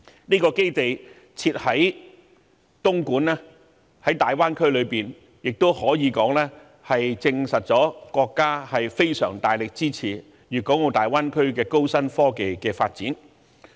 該基地設在大灣區內的東莞亦可以說證實了國家非常大力支持粵港澳大灣區的高新科技發展。